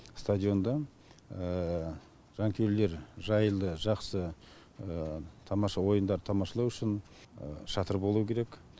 стадионда жанкүйерлер жайлы жақсы тамаша ойындарды тамашалау үшін шатыр болу керек